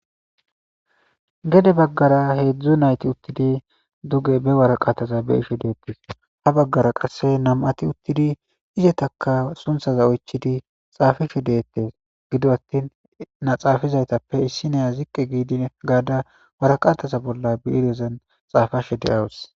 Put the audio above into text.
Gede baggara hezzu naytti uttidi be waraqathaza bea'she dethess. Ha bagara qassi namma'thi uttidi izzattakka suntha oychidi sunthaza xafishe dethess. Gidio attin xafidayttape issinaya ziqi gada waraqatha bolla bireyaza bolla xafashe deawuss.